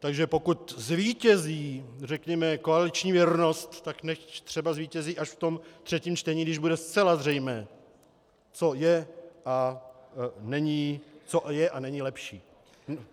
Takže pokud zvítězí, řekněme, koaliční věrnost, tak nechť třeba zvítězí až v tom třetím čtení, když bude zcela zřejmé, co je a není lepší.